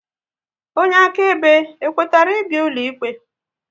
Onye akaebe e kwetara ị bịa ụlọikpe?